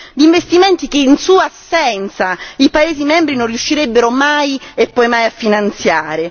Gli investimenti che, in sua assenza, i paesi membri non riuscirebbero mai e poi mai a finanziare.